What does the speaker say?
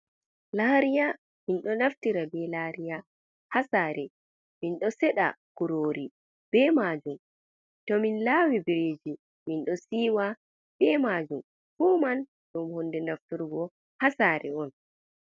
Lariya, Minɗou Naftira be Lariya Ha Sare. Mindou Seɗa Kurori Be Majum. Toumin Lawi Biriji Minɗo Siwa Be Majum, Fuman Ɗum Hunde Naftirgo Ha Sare On.